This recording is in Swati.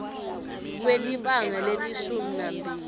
kwelibanga lelishumi nambili